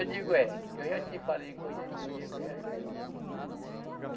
Eu digo, é, eu já te falei que eu, que eu ia criar o menino.